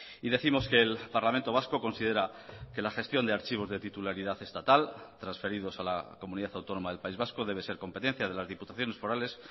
y décimos que el parlamento vasco considera que la gestión de archivos de titularidad estatal transferidos a la comunidad autónoma del país vasco debe ser competencia de las diputaciones forales